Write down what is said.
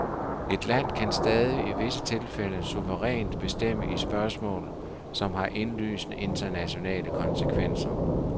Et land kan stadig i visse tilfælde suverænt bestemme i spørgsmål, som har indlysende internationale konsekvenser.